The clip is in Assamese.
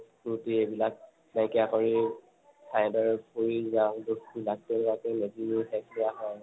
ত্ৰুটি এইবিলাক নাইকিয়া কৰি মেজিৰ জুইৰ সেক দিয়া হয়